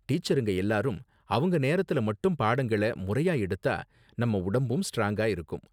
டீச்சருங்க எல்லாரும் அவங்க நேரத்துல மட்டும் பாடங்கள முறையா எடுத்தா நம்ம உடம்பும் ஸ்ட்ராங்கா இருக்கும்.